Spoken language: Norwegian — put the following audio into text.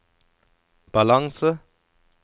balanse